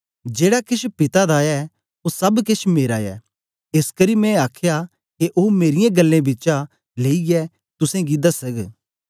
जेड़ा केछ पिता दा ऐ ओ सब केछ मेरा ऐ एसकरी मैं आखया के ओ मेरीयें ग्ल्लें बिचा लेईयै तुसेंगी दसग